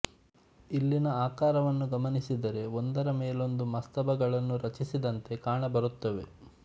ಇಲ್ಲಿನ ಆಕಾರವನ್ನು ಗಮನಿಸಿದರೆ ಒಂದರ ಮೇಲೊಂದು ಮಸ್ತಬಗಳನ್ನು ರಚಿಸಿದಂತೆ ಕಾಣಬರುತ್ತವೆ